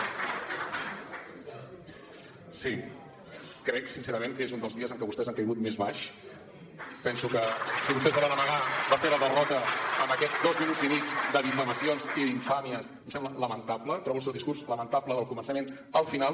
sí crec sincerament que és un dels dies en què vostès han caigut més baix penso que si vostès volen amagar la seva derrota amb aquests dos minuts i mig de difamacions i d’infàmies em sembla lamentable trobo el seu discurs lamentable del començament al final